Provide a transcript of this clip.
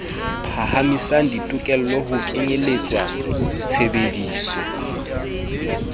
phahamisa ditokelo ho kenyeletswa tshebdiso